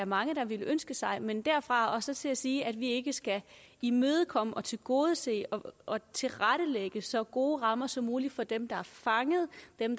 mange der ville ønske sig men derfra og så til at sige at vi ikke skal imødekomme og tilgodese og tilrettelægge så gode rammer som muligt for dem der er fanget